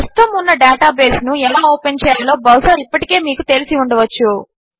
ప్రస్తుతము ఉన్న ఒక డేటాబేస్ను ఎలా ఓపెన్ చేయాలో బహుశా ఇప్పటికే మీకు తెలిసి ఉండవచ్చు